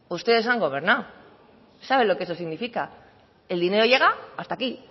ustedes han gobernado saben lo que eso significa el dinero llega hasta aquí